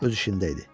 Öz işində idi.